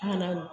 An kana